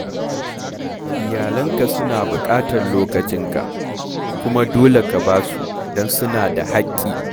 Iyalanka suna buƙatar lokacinka, kuma dole ka ba su don suna da haƙƙi.